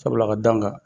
Sabula ka d'a kan